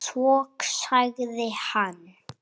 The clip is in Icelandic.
Svo sagði hann